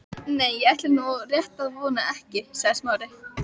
Nei, ég ætla nú rétt að vona ekki sagði Smári.